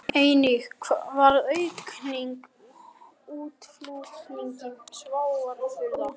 Einnig varð aukning í útflutningi sjávarafurða